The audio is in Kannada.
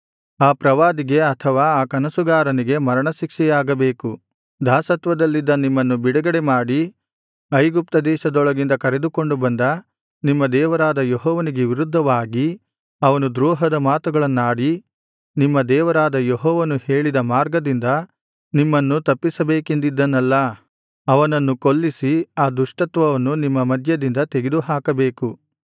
ಆ ಪ್ರವಾದಿಗೆ ಅಥವಾ ಆ ಕನಸುಗಾರನಿಗೆ ಮರಣ ಶಿಕ್ಷೆಯಾಗಬೇಕು ದಾಸತ್ವದಲ್ಲಿದ್ದ ನಿಮ್ಮನ್ನು ಬಿಡುಗಡೆಮಾಡಿ ಐಗುಪ್ತದೇಶದೊಳಗಿಂದ ಕರೆದುಕೊಂಡು ಬಂದ ನಿಮ್ಮ ದೇವರಾದ ಯೆಹೋವನಿಗೆ ವಿರುದ್ಧವಾಗಿ ಅವನು ದ್ರೋಹದ ಮಾತುಗಳನ್ನಾಡಿ ನಿಮ್ಮ ದೇವರಾದ ಯೆಹೋವನು ಹೇಳಿದ ಮಾರ್ಗದಿಂದ ನಿಮ್ಮನ್ನು ತಪ್ಪಿಸಬೇಕೆಂದಿದ್ದನಲ್ಲಾ ಅವನನ್ನು ಕೊಲ್ಲಿಸಿ ಆ ದುಷ್ಟತ್ವವನ್ನು ನಿಮ್ಮ ಮಧ್ಯದಿಂದ ತೆಗೆದುಹಾಕಬೇಕು